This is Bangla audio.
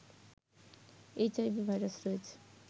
এইচআইভি ভাইরাস রয়েছে